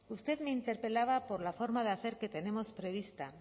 usted me interpelaba por la forma de hacer que tenemos prevista